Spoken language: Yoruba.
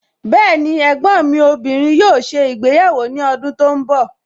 Bẹẹni, ẹ̀gbọ́n mi obìnrin yóò ṣe ìgbéyàwó ní ọdún tí ó ń bọ̀